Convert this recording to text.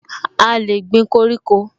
A lè gbin koríko